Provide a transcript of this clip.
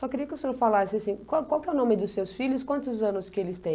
Só queria que o senhor falasse assim, qual qual é o nome dos seus filhos, quantos anos que eles têm?